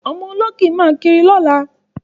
Ọmọ ológì máa kiri lọ́la.